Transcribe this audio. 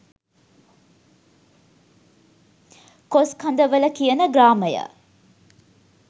කොස්කඳවල කියන ග්‍රාමය